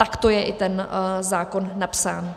A takto je i ten zákon napsán.